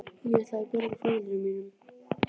Ég ætlaði að bjarga foreldrum mínum.